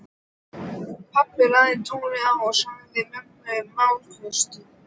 Pabbi lagði tólið á og sagði mömmu málavöxtu.